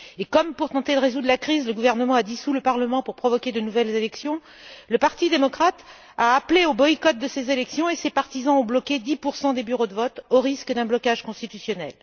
Comme, pour tenter de résoudre la crise, le gouvernement a dissous le parlement pour provoquer de nouvelles élections, le parti démocrate a appelé au boycott de ces élections et ses partisans ont bloqué 10 des bureaux de vote, au risque d'un blocage constitutionnel.